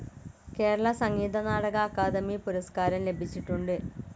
കേരള സംഗീത നാടക അക്കാദമി പുരസ്കാരം ലഭിച്ചിട്ടുണ്ട്.